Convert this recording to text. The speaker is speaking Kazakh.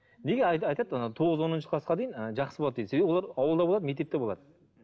неге айтады ана тоғыз оныншы класқа дейін ы жақсы болады дейді себебі олар ауылда болады мектепте болады